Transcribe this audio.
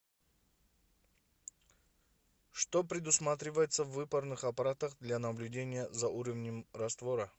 что предусматривается в выпарных аппаратах для наблюдения за уровнем раствора